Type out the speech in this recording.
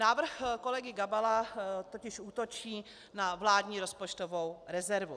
Návrh kolegy Gabala totiž útočí na vládní rozpočtovou rezervu.